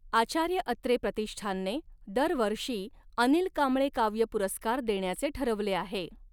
आचार्य अत्रे प्रत़िष्ठानने दरवर्षी अनिल कांबळे काव्य पुरस्कार देण्याचे ठरवले आहे.